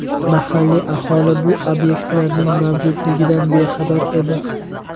Mahalliy aholi bu obyektlarning mavjudligidan bexabar edi.